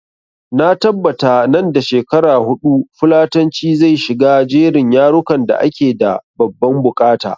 Na tabbata nan da shekara huɗu fulatanci zai shiga jerin yarukan da ake da babban buƙata